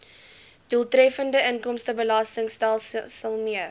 doeltreffende inkomstebelastingstelsel mee